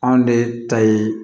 Anw de ta ye